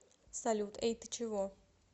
салют эй ты чего